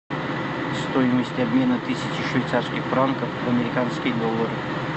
стоимость обмена тысячи швейцарских франков в американские доллары